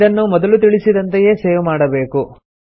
ಇದನ್ನು ಮೊದಲು ತಿಳಿಸಿದಂತೆಯೆ ಸೇವ್ ಮಾಡಬೇಕು